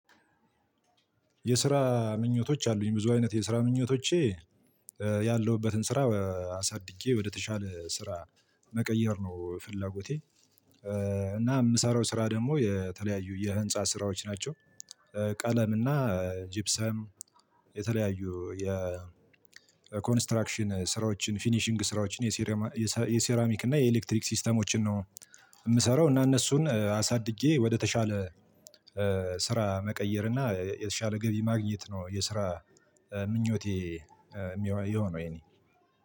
የስራ ምኞቶች አሉኝ ብዙ አይነት የስራ ምኞቶቼ ያለሁበትን ስራ አሳድጌ ወደተሻለ ስራ መቀየር ነው ፍላጎቴ። እና የምሰራው ስራ ደግሞ የተለያዩ የህንፃ ስራዎች ናቸው። ቀለም እና ጅብሰም የተለያዩ የኮንስትራክሽን ስራዎችን ፊኒሺንግ ስራዎችን የሴራሚክ እና የኤሌክትሪክ ሲስተሞችን ነው። የምሰራው እና እነሱን አሳድጌ ወደተሻለ ስራ መቀየር እና የተሻለ ገቢ ማግኘት ነው የስራ ምኞቴ። የሚሆነው የኔ